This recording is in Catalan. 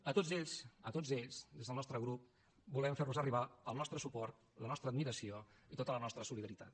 a tots ells a tots ells des del nostre grup volem fer los arribar el nostre suport la nostra admiració i tota la nostra solidaritat